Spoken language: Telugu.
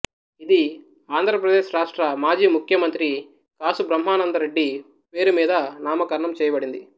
ఇది ఆంధ్ర ప్రదేశ్ రాష్ట్ర మాజీ ముఖ్యమంత్రి కాసు బ్రహ్మానంద రెడ్డి పేరు మీద నామకరణం చేయబడింది